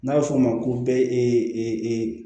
N'a bɛ f'o ma ko e e e e e e